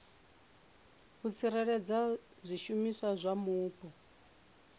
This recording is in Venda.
u tsireledza zwishumiswa zwa mupo